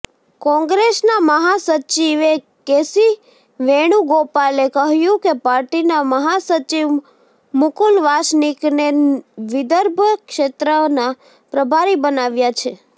કોંગ્રેસના મહાસચિવે કેસી વેણુગોપાલે કહ્યું કે પાર્ટીના મહાસચિવ મુકુલ વાસનિકને વિદર્ભ ક્ષેત્રના પ્રભારી બનાવ્યાં છે